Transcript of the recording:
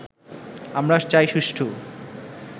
আমরা চাই সুষ্ঠু